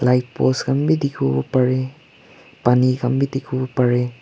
light post khan bi dikhiwo pareh paani khan bi dikhiwo para.